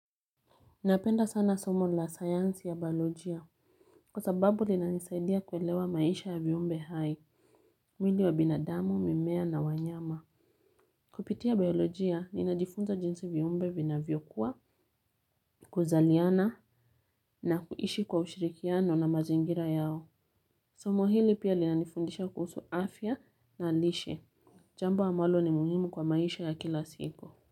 Napenda sana somo la sayansi ya biolojia. Kwa sababu linanisaidia kuelewa maisha ya viumbe hai. Mwili wa binadamu, mimea na wanyama. Kupitia biolojia, ninajifunza jinsi viumbe vinavyokua, kuzaliana na kuishi kwa ushirikiano na mazingira yao. Somo hili pia linanifundisha kuhusu afya na lishe. Jambo amwalo ni muhimu kwa maisha ya kila siku.